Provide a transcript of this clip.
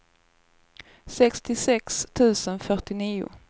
sextiosex tusen fyrtionio